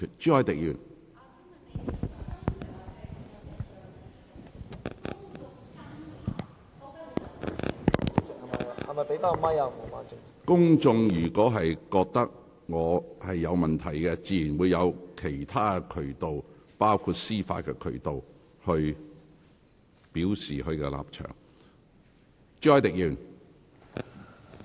如果公眾認為我有問題，自有其他渠道，包括司法渠道，表達他們的立場。